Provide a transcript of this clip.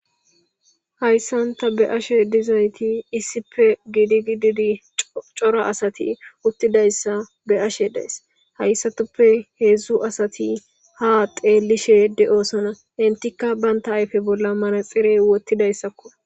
hayssan taa be'ashe dizayti issippe giidi gididi cora asati uttidayssa be'ashe dayis .hayssatuppe heedzdzu asati ha xeellishe de7osona .entikka baynta ayfe bolla manaxire wottidayssakko.